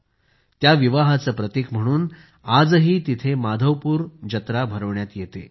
आणि त्या विवाहाचे प्रतीक म्हणून आजही तिथे माधवपूर तिथं जत्रा भरविण्यात येते